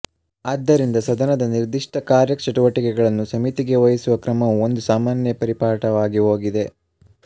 ಆದ್ದರಿಂದ ಸದನದ ನಿರ್ದಿಷ್ಟ ಕಾರ್ಯಚಟುವಟಿಕೆಗಳನ್ನು ಸಮಿತಿಗಳಿಗೆ ವಹಿಸುವ ಕ್ರಮವು ಒಂದು ಸಾಮಾನ್ಯ ಪರಿಪಾಠವಾಗಿಹೋಗಿದೆ